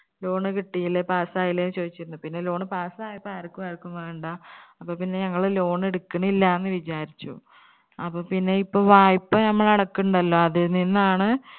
loan കിട്ടിയില്ലേ pass ആയില്ലേ ചോദിച്ചിരുന്നു. പിന്നെ pass ആയപ്പോ ആർക്കു ആർക്കു വേണ്ട. അപ്പോ പിന്നെ ഞങ്ങള് loan എടുക്കിണില്ലാന്ന് വിജാരിച്ചു അപ്പോ പിന്നെ ഇപ്പോ വായ്പ്പ നമ്മൾ അടക്കുന്നുണ്ടല്ലോ അതിൽനിന്നാണ്